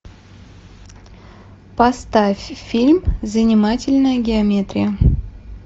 поставь фильм занимательная геометрия